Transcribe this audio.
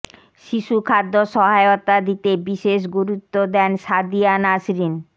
শিশু খাদ্য সহায়তা দিতে বিশেষ গুরুত্ব দেন সাদিয়া নাসরিন